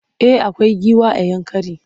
Eh akwai giwa a Yankari.